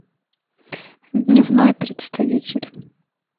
дневной представитель